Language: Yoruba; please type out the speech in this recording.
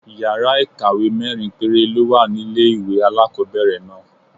Yàrá ìkàwé mẹ́rin péré ló wà ní ilé-ìwé alákọ́bẹ̀rẹ̀ náà